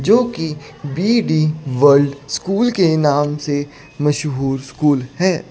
जो कि B D world school के नाम से मशहूर स्कूल हैं।